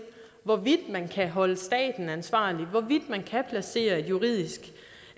hvorvidt man kan holde staten ansvarlig hvorvidt man kan placere et juridisk